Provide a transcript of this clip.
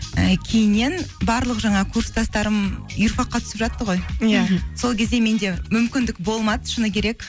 і кейіннен барлық жаңағы курстастарым юрфак қа түсіп жатты ғой сол кезде менде мүмкіндік болмады шыны керек